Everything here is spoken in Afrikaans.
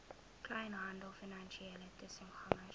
kleinhandel finansiële tussengangers